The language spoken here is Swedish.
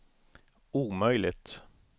omöjligt